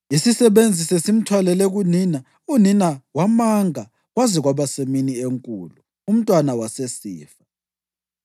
Isisebenzi sesimthwalele kunina unina wamanga kwaze kwaba semini enkulu umntwana wasesifa.